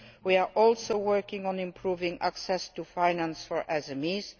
We are also working on improving access to finance for SMEs.